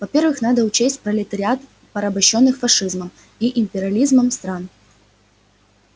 во-первых надо учесть пролетариат порабощённых фашизмом и империализмом стран